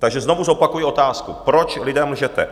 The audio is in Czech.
Takže znovu zopakuji otázku: Proč lidem lžete?